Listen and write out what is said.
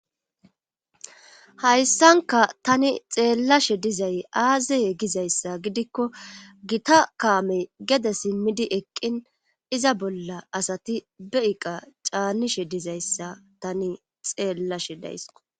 Hayssanka tani xeellashe dizay aazeye gizayssa gidikko gita kaamey gede simmidi eqqin iza bolla asati be iqa caanishe dizayssa tani xeellashe daysko.